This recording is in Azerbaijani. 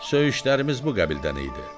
Söyüşlərimiz bu qəbildən idi.